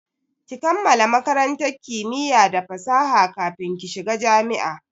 Ki kammala makarantar kimiya da fasaha kafin ki shiga jami'a!